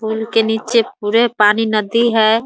फूल के नीचे पूरे पानी नदी है ।